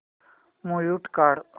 mute काढ